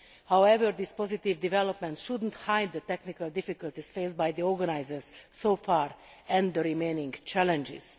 However, these positive developments should not hide the technical difficulties faced by the organisers so far, and the remaining challenges.